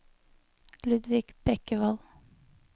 Ludvig Bekkevold